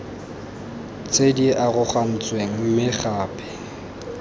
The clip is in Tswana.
tse di arogantsweng mme gape